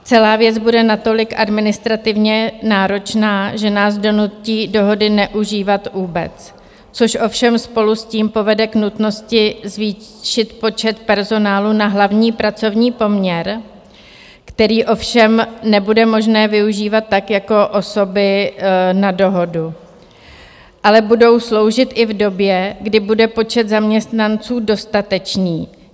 Celá věc bude natolik administrativně náročná, že nás donutí dohody neužívat vůbec, což ovšem spolu s tím povede k nutnosti zvýšit počet personálu na hlavní pracovní poměr, který ovšem nebude možné využívat tak jako osoby na dohodu, ale budou sloužit i v době, kdy bude počet zaměstnanců dostatečný.